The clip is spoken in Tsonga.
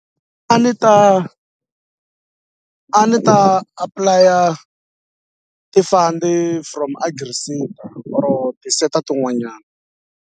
A ni ta a ni ta apply-a ti fund from or ti seta tin'wanyana.